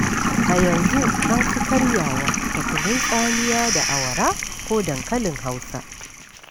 A yanzu an fi karyawa da kunun tsamiya da awara ko dankalin Hausa.